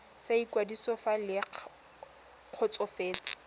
sa ikwadiso fa le kgotsofetse